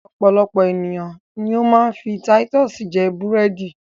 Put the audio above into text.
Ọpọ̀lọpọ̀ ènìyàn ni ó ma ń fi Titus jẹ búrẹ̀dì